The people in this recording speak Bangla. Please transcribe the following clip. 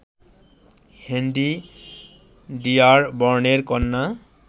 হেনরি ডিয়ারবর্নের কন্যা